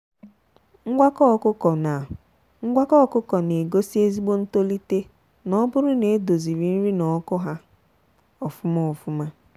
ngwakọ ọkụkọ na ngwakọ ọkụkọ na egosi ezigbo ntolite n'oburu na e doziri nri na ọkụ ha ofụma ofụma.